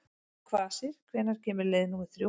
Kvasir, hvenær kemur leið númer þrjú?